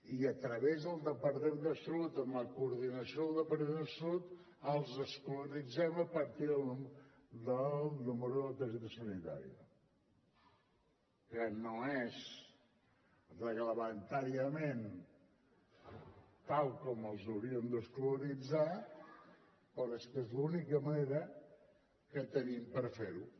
i a través del departament de salut amb la coordinació del departament de salut els escolaritzem a partir del número de la targeta sanitària que no és reglamentàriament tal com els hauríem d’escolaritzar però és que és l’única manera que tenim per ferho